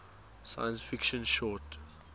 science fiction short